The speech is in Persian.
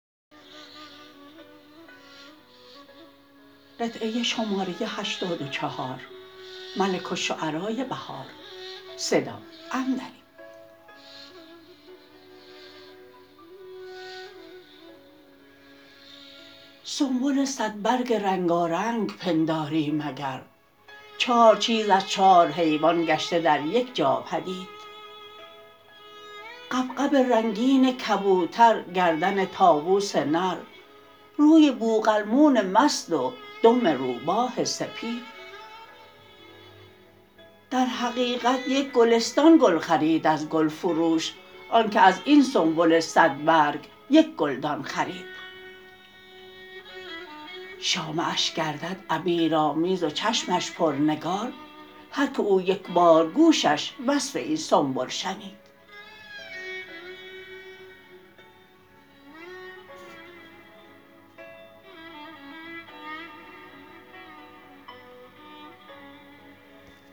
سنبل صد برگ رنگارنگ پنداری مگر چار چیز از چار حیوان گشته در یکجا پدید غبغب رنگین کبوتر گردن طاوس نر روی بوقلمون مست و دم روباه سپید در حقیقت یک گلستان گل خرید از گلفروش آن که از این سنبل صد برگ یک گلدان خرید شامه اش گردد عبیرآمیز و چشمش پرنگار هرکه او یکبار گوشش وصف این سنبل شنید